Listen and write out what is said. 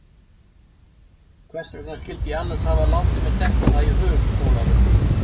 Hvers vegna skyldi ég annars hafa látið mér detta það í hug, Ólafur?